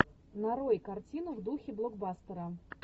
нарой картину в духе блокбастера